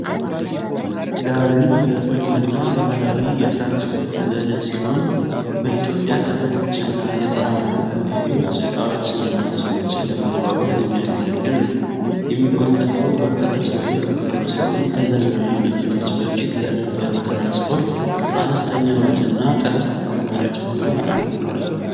"ጋሪ" የቆየና ባህላዊ የትራንስፖርት ዘዴ ሲሆን፣ በኢትዮጵያ ከተሞች እና ገጠራማ አካባቢዎች ዕቃዎችንና ሰዎችን ለማጓጓዝ የሚያገለግል ነው። የሚጎተተው በፈረስ ወይም በበቅሎ ሲሆን፣ ከዘመናዊ መኪኖች በፊት ለነበረው ትራንስፖርት አነስተኛ ወጪ እና ቀርፋፋ አማራጭ ሆኖ አገልግሏል።